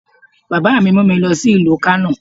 Bàbá mi mu mi lọ sí ìlú Kánò